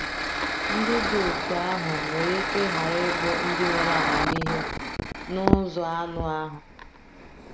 Ndị dị otú ahụ nwere ike ghara ịbụ “ndị nwere amamihe n’ụzọ anụ ahụ.”